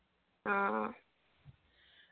ആ